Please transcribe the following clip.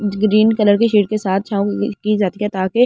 green colour के sheet के साथ छाव की जाती है ताकि--